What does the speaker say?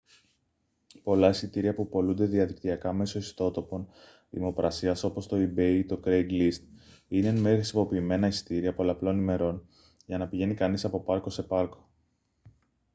πολλά εισιτήρια που πωλούνται διαδικτυακά μέσω ιστότοπων δημοπρασίας όπως το ebay ή το craigslist είναι εν μέρει χρησιμοποιημένα εισιτήρια πολλαπλών ημερών για να πηγαίνει κανείς από πάρκο σε πάρκο